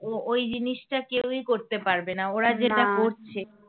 ও ওই জিনিসটা কেউই করতে পারবে না ওরা যেটা করছে